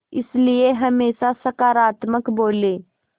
इसलिए हमेशा सकारात्मक बोलें